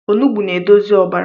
Ọnụgbụ na-edozi ọbara